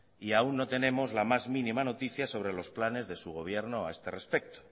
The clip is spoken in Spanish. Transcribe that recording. y aún no tenemos la más mínima noticia sobre los planes de su gobierno a este respecto